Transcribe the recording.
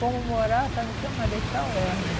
Fomos morar, sabe, o quê? Marechal Hermes.